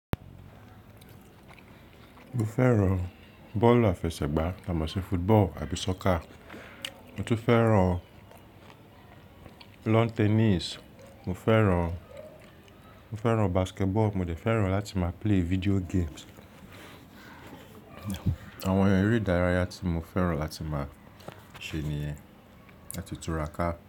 Mo fẹ́ràn bọ́ọ̀lù àfẹsẹ̀gbá tà mo ṣi football àbí soccer. Mo tún fẹ́ràn lawn tennis, mo fẹ́ràn, mo fẹ́ràn basketball, mo dẹ̀ fẹ́ràn láti máa play video games. Àwọn eré ìdárayá tí mo fẹ́ràn láti máa ṣe nìyẹn, lati tu ra ká.